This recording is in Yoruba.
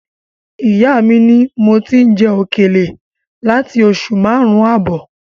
Ìyá mi ni mo ti ń jẹ òkèlè láti oṣù márùn-ún ààbọ̀